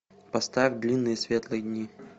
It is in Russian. поставь длинные светлые дни